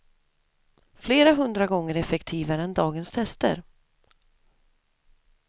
Flera hundra gånger effektivare än dagens tester.